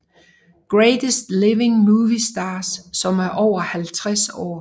Greatest Living Movie Stars som er over 50 år